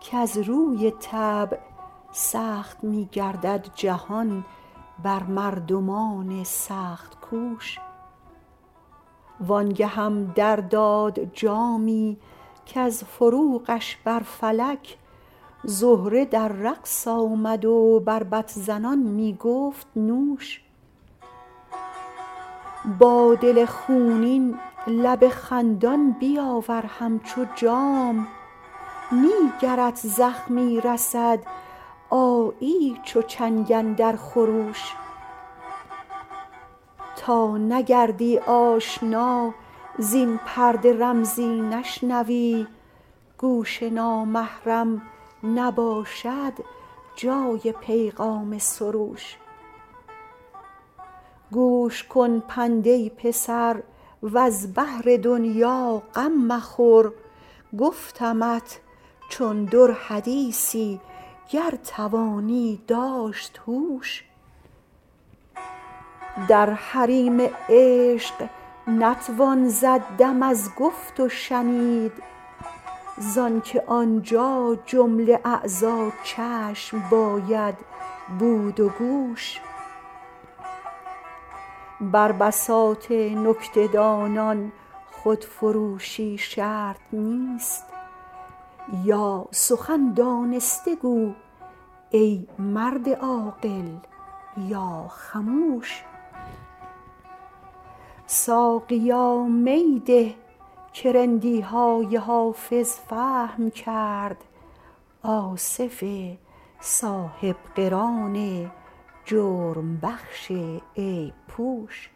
کز روی طبع سخت می گردد جهان بر مردمان سخت کوش وان گهم در داد جامی کز فروغش بر فلک زهره در رقص آمد و بربط زنان می گفت نوش با دل خونین لب خندان بیاور همچو جام نی گرت زخمی رسد آیی چو چنگ اندر خروش تا نگردی آشنا زین پرده رمزی نشنوی گوش نامحرم نباشد جای پیغام سروش گوش کن پند ای پسر وز بهر دنیا غم مخور گفتمت چون در حدیثی گر توانی داشت هوش در حریم عشق نتوان زد دم از گفت و شنید زان که آنجا جمله اعضا چشم باید بود و گوش بر بساط نکته دانان خودفروشی شرط نیست یا سخن دانسته گو ای مرد عاقل یا خموش ساقیا می ده که رندی های حافظ فهم کرد آصف صاحب قران جرم بخش عیب پوش